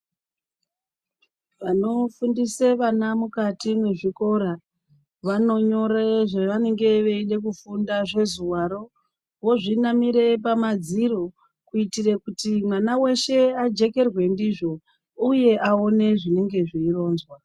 Vanofundise vana mukati mezvikora, vanonyore zvevanenge veidekufunda, zvezuvaro, vozvinamire pamadziro kuitire kuti mwana weshe ajekerwe ndizvo uye aone zvinenge zveironzwa.